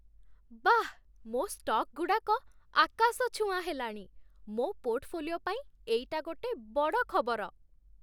ବାଃ, ମୋ' ଷ୍ଟକ୍‌ଗୁଡ଼ାକ ଆକାଶଛୁଆଁ ହେଲାଣି! ମୋ ପୋର୍ଟଫୋଲିଓ ପାଇଁ ଏଇଟା ଗୋଟେ ବଡ଼ ଖବର ।